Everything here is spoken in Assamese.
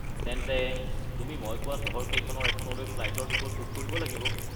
তেন্তে তুমি মই কোৱা চহৰকেইখনৰ এখনলৈ ফ্লাইটৰ টিকট বুক কৰিব লাগিব।